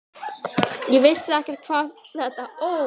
Ég vissi ekkert hvað þetta Ó!